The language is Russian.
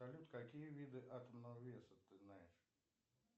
салют какие виды атомного веса ты знаешь